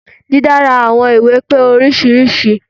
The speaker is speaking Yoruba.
Dídára àwọn ìwé pé oríṣiríṣi.